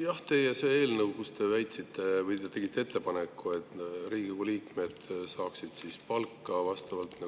Jah, te eelnõu, kus te tegite ettepaneku, et Riigikogu liikmed saaksid palka vastavalt